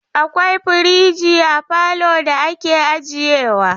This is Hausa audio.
Akwai firiji a falo da ake ajiye wa.